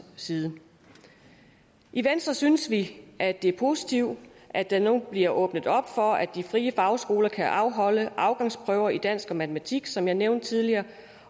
side i venstre synes vi at det er positivt at der nu bliver åbnet op for at de frie fagskoler kan afholde afgangsprøver i dansk og matematik som jeg nævnte tidligere